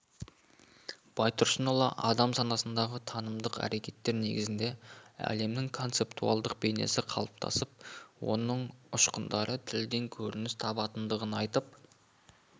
байтұрсынұлы адам санасында танымдық әркеттер негізінде әлемнің концептуалдық бейнесі қалыптасып оның ұшқындары тілден көрініс табатындығын айтып